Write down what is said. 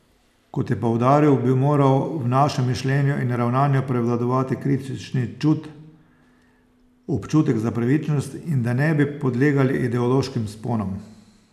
Kot je poudaril, bi moral v našem mišljenju in ravnanju prevladovati kritični čut, občutek za pravičnost in da ne bi podlegali ideoloških sponam.